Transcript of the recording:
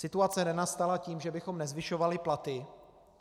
Situace nenastala tím, že bychom nezvyšovali platy.